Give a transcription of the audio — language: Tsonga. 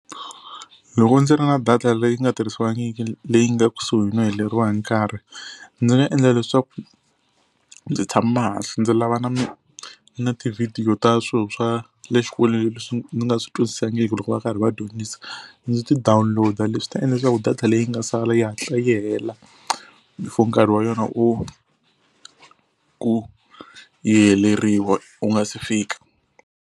Loko ndzi ri na data leyi nga tirhisiwangiki leyi nga kusuhi no heleriwa hi nkarhi ndzi nga endla leswaku ndzi tshama hansi ndzi lava na mi na ti-video ta swilo swa le xikolweni leswi ndzi nga swi twisisangiki loko va karhi va dyondzisa, ndzi ti download-a leswi ta endla leswaku data leyi nga sala yi hatla yi hela before nkarhi wa yona wu ku yi heleriwa wu nga se fika.